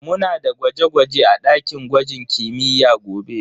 Muna da gwaje-gwaje a dakin gwajin kimiyya gobe.